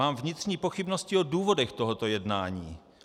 Mám vnitřní pochybnosti o důvodech tohoto jednání.